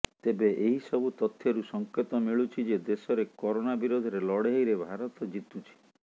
ତେବେ ଏହି ସବୁ ତଥ୍ୟରୁ ସଙ୍କେତ ମିଳୁଛି ଯେ ଦେଶରେ କରୋନା ବିରୋଧରେ ଲଢେଇରେ ଭାରତ ଜିତୁଛି